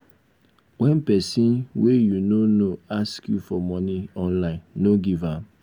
wen pesin wey you no know ask you for money online no give am.